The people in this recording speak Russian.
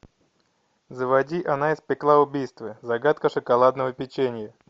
заводи она испекла убийство загадка шоколадного печенья